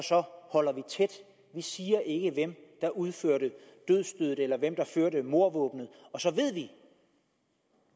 holder vi tæt vi siger ikke hvem der udførte dødsstødet eller hvem der førte mordvåbnet og så ved vi